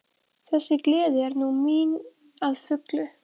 Þessi gleði er nú mín að fullu.